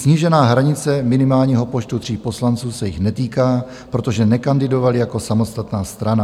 Snížená hranice minimálního počtu 3 poslanců se jich netýká, protože nekandidovali jako samostatná strana.